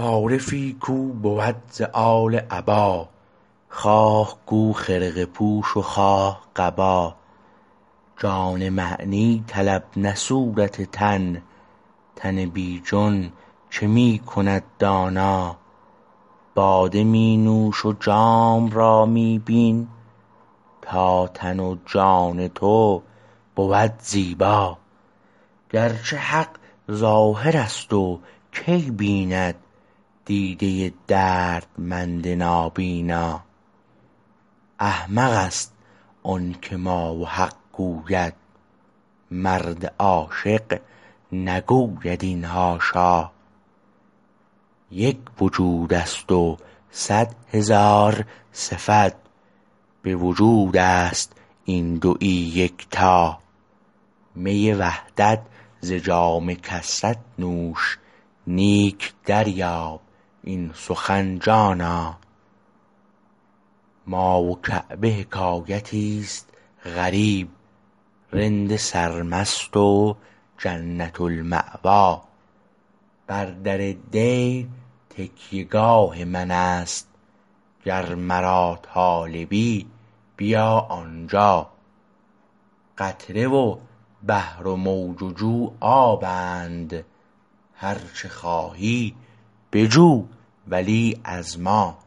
عارفی کو بود ز آل عبا خواه گو خرقه پوش و خواه قبا جان معنی طلب نه صورت تن تن بی جان چه می کند دانا باده می نوش و جام را می بین تا تن و جان تو بود زیبا گرچه حق ظاهر است کی بیند دیده دردمند نابینا احمق است آنکه ما و حق گوید مرد عاشق نگوید این حاشا یک وجود است و صد هزار صفت به وجود است این دویی یکتا می وحدت ز جام کثرت نوش نیک دریاب این سخن جانا ما و کعبه حکایتی است غریب رند سرمست و جنت المأوا بر در دیر تکیه گاه من است گر مرا طالبی بیا آنجا قطره و بحر و موج و جو آبند هر چه خواهی بجو ولی از ما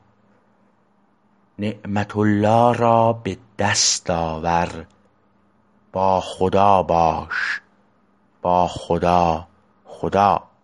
نعمت الله را به دست آور با خدا باش با خدا خدا